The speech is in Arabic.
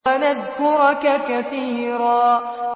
وَنَذْكُرَكَ كَثِيرًا